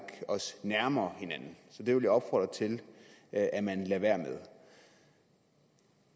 os nærmere hinanden så det vil jeg opfordre til at at man lader være med